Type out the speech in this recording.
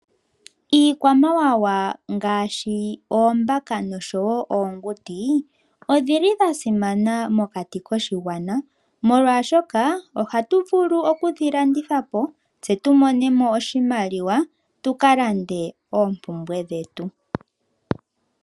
Iikwamawawa ngashi oombaka noshowo oonguti odhili dha simana mokati koshigwana molwashoka ohatu vulu oku dhilandithapo tse tumo nemo oshimaliwa tuka lande oompumbwe dhetu.